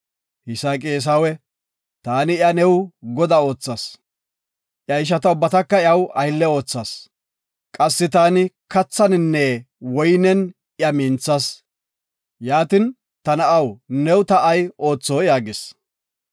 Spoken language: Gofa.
Yisaaqi Eesawe, “Taani iya new godaa oothas. Iya ishata ubbataka iyaw aylle oothas. Qassi taani kathaninne woynen iya minthas. Yaatin, ta na7aw, new ta ay ootho?” yaagis.